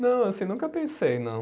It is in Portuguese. Não, assim, nunca pensei, não.